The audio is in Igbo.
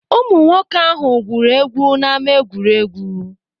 Ụmụ nwoke ahụ gwuru egwu na ama egwuregwu.